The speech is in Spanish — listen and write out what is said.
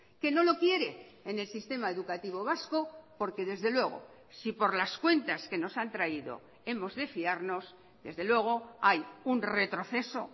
que no lo quiere en el sistema educativo vasco porque desde luego si por las cuentas que nos han traído hemos de fiarnos desde luego hay un retroceso